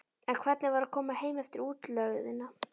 En hvernig var að koma heim eftir útlegðina?